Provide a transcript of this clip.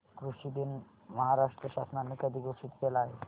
कृषि दिन महाराष्ट्र शासनाने कधी घोषित केला आहे